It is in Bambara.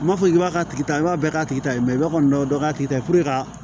N m'a fɔ k'i b'a tigi ta i b'a bɛɛ k'a tigi ta ye kɔni dɔ k'a tigi ta puruke ka